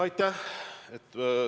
Aitäh!